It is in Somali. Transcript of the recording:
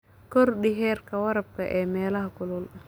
Kordhi heerka waraabka ee meelaha kulul.